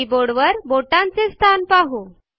कीबोर्डवर आपल्या बोटांचे स्थान पाहू